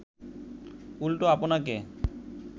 উল্টো আপনাকে